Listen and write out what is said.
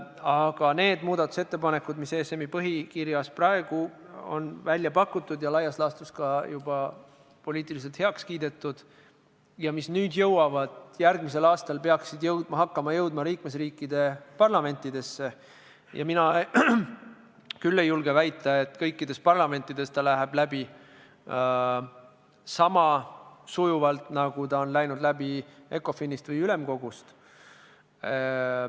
Aga muudatusettepanekute kohta, mis on ESM-i põhikirjas välja pakutud – laias laastus juba ka poliitiliselt heaks kiidetud – ja peaksid hakkama järgmisel aastal jõudma liikmesriikide parlamentidesse, mina küll ei julge väita, et need lähevad kõikides parlamentides läbi sama sujuvalt, nagu on läinud ECOFIN-is või ülemkogus.